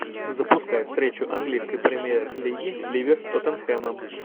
запускай встречу английской премьер лиги ливер с тоттенхэмом